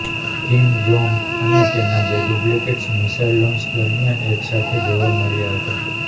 Kim Jong અને તેના બે ડુપ્લિકેટ્સ મિસાઇલ લોંચ દરમિયાન એક સાથે જોવા મળ્યાં હતાં